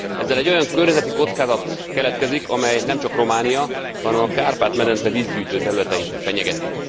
Ezzel egy olyan környezeti kockázat keletkezik, amely nemcsak Románia, hanem a Kárpát medence vízgyűjtő területeit fenyegeti.